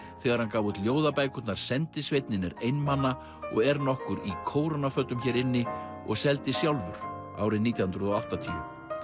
þegar hann gaf út ljóðabækurnar sendisveinninn er einmana og er nokkur í kórónafötum hér inni og seldi sjálfur árið nítján hundruð og áttatíu